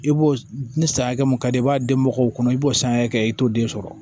I b'o ni san hakɛ mun ka di i b'a di mɔgɔw kɔnɔ i b'o san hakɛ t'o den sɔrɔ